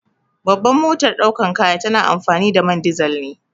Babban motar daukar kaya tana amfani da man dizal ne.